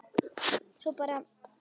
Svo bara.